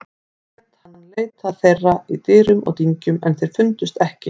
Lét hann leita þeirra í dyrum og dyngjum en þeir fundust ekki.